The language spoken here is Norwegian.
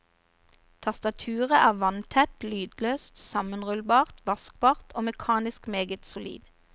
Tastaturet er vanntett, lydløst, sammenrullbart, vaskbart og mekanisk meget solid.